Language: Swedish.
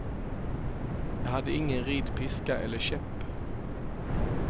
Jag hade ingen ridpiska eller käpp.